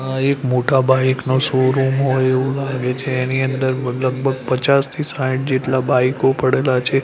આ એક મોટા બાઇક નો શોરુમ હોઇ એવુ લાગે છે એની અંદર લગભગ પચાસથી સાઈઠ જેટલા બાઈકો પડેલા છે.